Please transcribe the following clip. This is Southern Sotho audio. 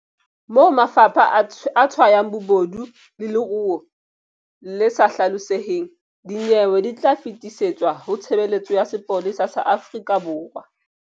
Moo mafapha a tshwayang bobodu le leruo le sa hlaloseheng, dinyewe di tla fetisetswa ho Tshebeletso ya Sepolesa sa Afrika Borwa.